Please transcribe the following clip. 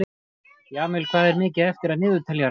Jamil, hvað er mikið eftir af niðurteljaranum?